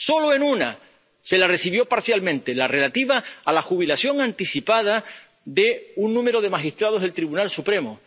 Solo a una se la recibió parcialmente la relativa a la jubilación anticipada de un número de magistrados del Tribunal Supremo.